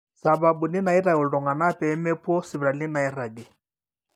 sababuni naaitau iltung'anak pee mepuo sipitalini naairagi